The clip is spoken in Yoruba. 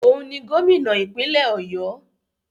Òun ni Gómìnà ìpínlẹ̀ ọ̀yọ́.